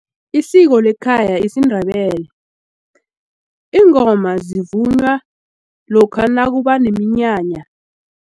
Isiko lekhaya isiNdebele iingoma zivunywa lokha nakuba neminyanya.